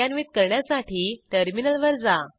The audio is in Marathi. कार्यान्वित करण्यासाठी टर्मिनलवर जा